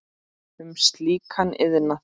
um slíkan iðnað.